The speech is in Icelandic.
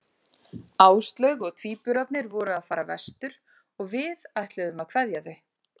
Áslaug og tvíburarnir voru að fara vestur og við ætluðum að kveðja þau.